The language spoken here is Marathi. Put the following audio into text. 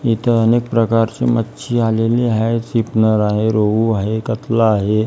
इथं अनेक प्रकारची मच्छी आलेली आहे शिपनर आहे रोहू आहे कतला आहे.